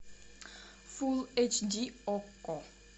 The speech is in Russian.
фул эйч ди окко